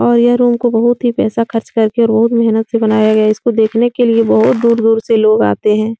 और यह रूम को बहोत ही पैसा खर्च कर के बहोत ही मेहनत से बनाया गया है। इसको देखने के लिए बहोत दूर-दूर से लोग आते हैं।